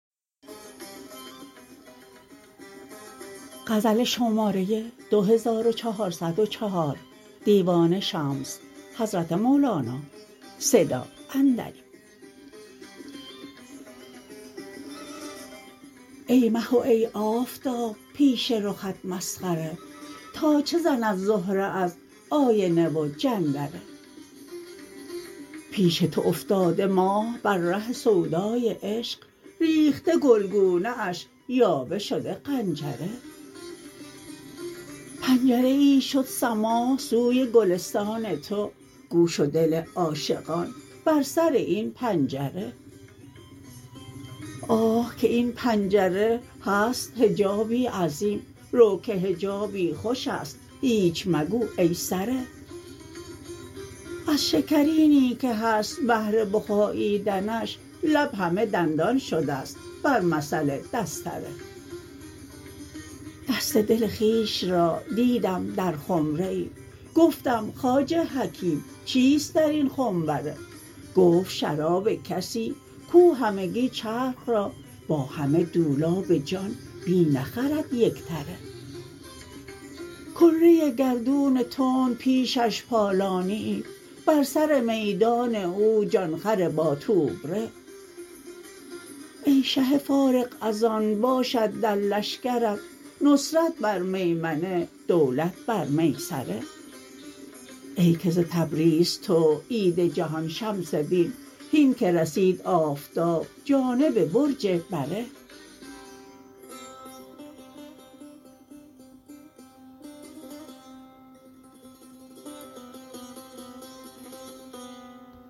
ای مه و ای آفتاب پیش رخت مسخره تا چه زند زهره از آینه و جندره پیش تو افتاده ماه بر ره سودای عشق ریخته گلگونه اش یاوه شده قنجره پنجره ای شد سماع سوی گلستان تو گوش و دل عاشقان بر سر این پنجره آه که این پنجره هست حجابی عظیم رو که حجابی خوش است هیچ مگو ای سره از شکرینی که هست بهر بخاییدنش لب همه دندان شده ست بر مثل دستره دست دل خویش را دیدم در خمره ای گفتم خواجه حکیم چیست در این خنبره گفت شراب کسی کو همگی چرخ را با همه دولاب جان می نخرد یک تره کره گردون تند پیشش پالانیی بر سر میدان او جان خر باتوبره ای شه فارغ از آن باشد در لشکرت نصرت بر میمنه دولت بر میسره ای که ز تبریز تو عید جهان شمس دین هین که رسید آفتاب جانب برج بره